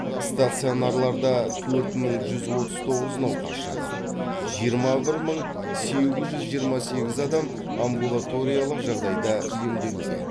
стационарларда төрт мың жүз отыз тоғыз науқас жатыр жиырма бір мың сегіз жүз жиырма сегіз адам амбулаториялық жағдайда емделуде